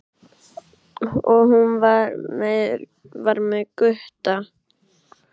Og hún var með Gutta!